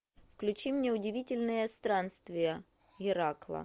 включи мне удивительные странствия геракла